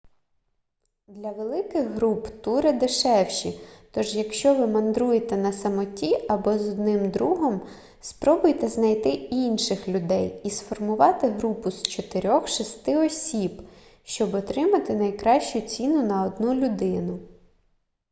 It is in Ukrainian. для великих груп тури дешевші тож якщо ви мандруєте на самоті або з одним другом спробуйте знайти інших людей і сформувати групу з чотирьох-шести осіб щоб отримати найкращу ціну на одну людину